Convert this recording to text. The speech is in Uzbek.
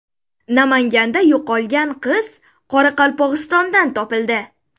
Namanganda yo‘qolgan qiz Qoraqalpog‘istondan topildi.